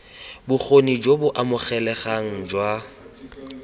bokgoni jo bo amogelesegang jwa